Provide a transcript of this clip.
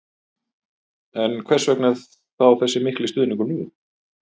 En hvers vegna þá þessi miklu stuðningur nú?